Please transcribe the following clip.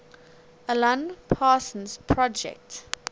alan parsons project